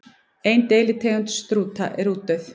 Ein deilitegund strúta er útdauð.